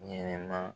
Ɲɛnɛma